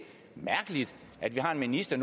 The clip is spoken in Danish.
mærkeligt at vi har en minister